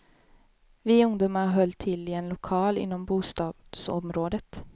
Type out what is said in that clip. Vi ungdomar höll till i en lokal inom bostadsområdet.